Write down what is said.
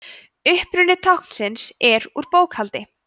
uppruni táknsins er úr bókhaldi